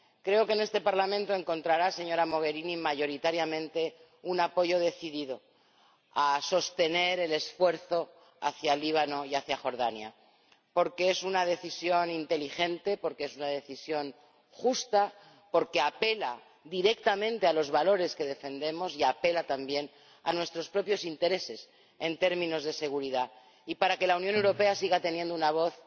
Creo que en este Parlamento encontrará, señora Mogherini, mayoritariamente un apoyo decidido a sostener el esfuerzo hacia Líbano y hacia Jordania, porque es una decisión inteligente, porque es una decisión justa, porque apela directamente a los valores que defendemos y apela también a nuestros propios intereses en términos de seguridad y para que la Unión Europea siga teniendo una voz